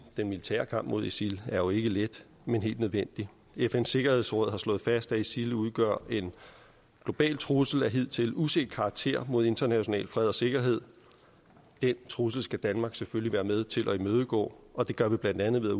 den militære kamp mod isil er jo ikke let men helt nødvendig fns sikkerhedsråd har slået fast at isil udgør en global trussel af hidtil uset karakter mod international fred og sikkerhed den trussel skal danmark selvfølgelig være med til at imødegå og det gør vi blandt andet ved at